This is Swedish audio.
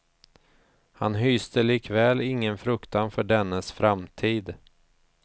Han hyste likväl ingen fruktan för dennes framtid.